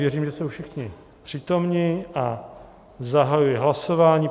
Věřím, že jsou všichni přítomni, a zahajuji hlasování.